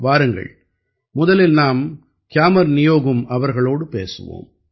வாருங்கள் முதலில் நாம் கியாமர் நியோகும் அவர்களோடு பேசுவோம்